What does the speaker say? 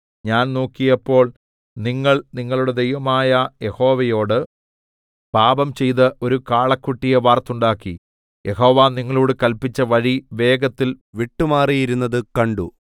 ഞാൻ നോക്കിയപ്പോൾ നിങ്ങൾ നിങ്ങളുടെ ദൈവമായ യഹോവയോട് പാപംചെയ്ത് ഒരു കാളക്കുട്ടിയെ വാർത്തുണ്ടാക്കി യഹോവ നിങ്ങളോട് കല്പിച്ച വഴി വേഗത്തിൽ വിട്ടുമാറിയിരുന്നത് കണ്ടു